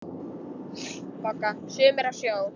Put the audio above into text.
BOGGA: Sumir á sjó!